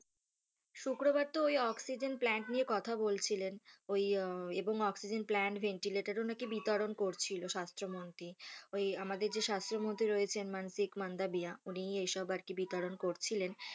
শুক্রবার তো ঐ অক্সিজেন প্লান্ট নিয়ে কথা বলছিলেন ঐ এবং অক্সিজেন প্লান্ট ভেন্টিলেটর ও নাকি বিতরণ করছিলো স্বাস্থ্যমন্ত্রী, ঐ আমদের যে স্বাস্থ্যমন্ত্রী রয়েছেন মানসিক মান্দাবিয়া উনিই এইসব আরকি বিতরণ করছিলেন।